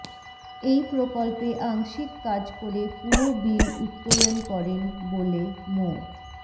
এই প্রকল্পে আংশিক কাজ করে পুরো বিল উত্তোলন করেন বলে মো